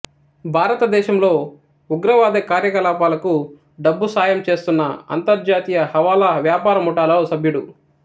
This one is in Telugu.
భారతదేశంలో ఉగ్రవాద కార్యకలాపాలకు డబ్బు సాయం చేస్తున్న అంతర్జాతీయ హవాలా వ్యాపార ముఠాలో సభ్యుడు